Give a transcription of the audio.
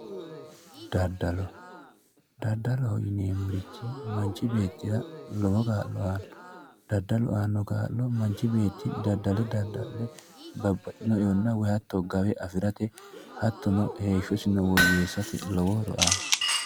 daddalo daddaloho yineemmorichi manchi beettira lowo kaa'lo aanno daddalu aannno horo manchi beetti daddale dadda'le babbaxitino e'onna hatto gawe afirate hattono heeshshosino woyyeessate lowo horo aanno